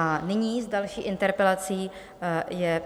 A nyní s další interpelací je